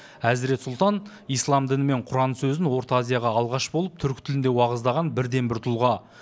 әзірет сұлтан ислам діні мен құран сөзін орта азияға алғаш болып түркі тілінде уағыздаған бірден бір тұлға